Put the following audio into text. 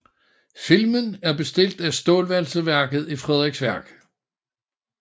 Filmen er bestilt af Stålvalseværket i Frederiksværk